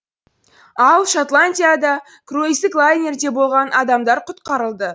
ал шотландияда круиздік лайнерде болған адамдар құтқарылды